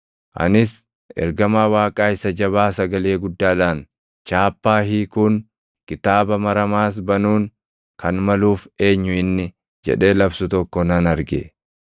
Anis ergamaa Waaqaa isa jabaa sagalee guddaadhaan, “Chaappaa hiikuun, kitaaba maramaas banuun kan maluuf eenyu inni?” jedhee labsu tokko nan arge.